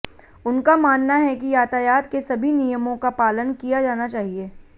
उनका मानना है कि यातायात के सभी नियमों का पालन किया जाना चाहिए